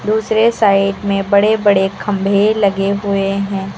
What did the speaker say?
दूसरे साइड में बड़े बड़े खंबे लगे हुए हैं।